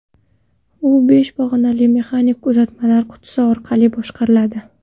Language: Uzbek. U besh pog‘onali mexanik uzatmalar qutisi orqali boshqariladi.